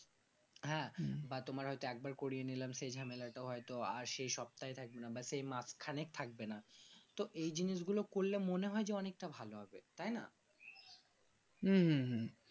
হ্যাঁ বা তোমার হয়তো একবার করে নিলে সেই ঝামেলাটা হয়তো আর সেই সপ্তাহে বাস সেই মাঝখানে থাকবে না তো এই জিনিসগুলো করলে অনেকটা ভালো হবে তাই না